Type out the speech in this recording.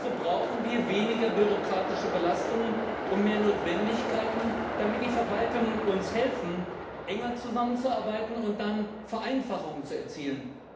Also brauchen wir weniger bürokratische Belastungen und mehr Notwendigkeiten, damit die Verwaltungen uns helfen, enger zusammenzuarbeiten und dann Vereinfachungen zu erzielen.